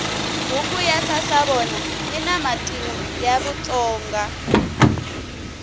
buku ya sasavona yina matimu ya vatsonga